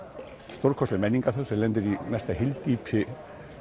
stórkostleg menningarþjóð sem lendir í mesta hyldýpi